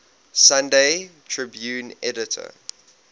sunday tribune editor